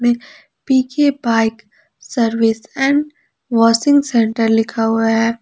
में P K bike service and washing centre लिखा हुआ है।